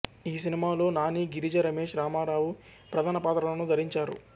ఈ సినిమాలో నాని గిరిజ రమేష్ రామారావు ప్రధాన పాత్రలను ధరించారు